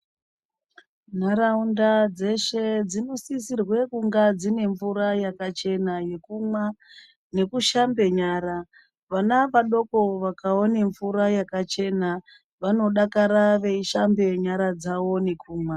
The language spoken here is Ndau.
Nharaunda dzeshe dzino sisirwe kunga dzine mvura yakachena yekumwa neku shamba nyara vana vadoko vakaone mvura yaka chena vanodakara vei shamba nyara dzavo ne kumwa.